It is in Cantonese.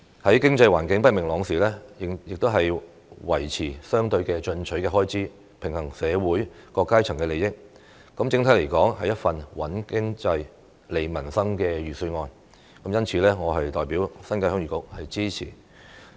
在經濟環境不明朗時，仍維持相對進取的開支，平衡社會各階層的利益，整體來說是一份"穩經濟、利民生"的預算案，因此我代表新界鄉議局表示支持。